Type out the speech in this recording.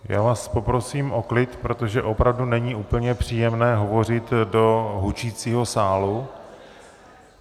Já vás poprosím o klid, protože opravdu není úplně příjemné hovořit do hučícího sálu.